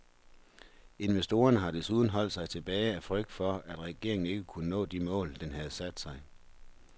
Investorerne har desuden holdt sig tilbage af frygt for, at regeringen ikke kunne nå de mål, den havde sat sig.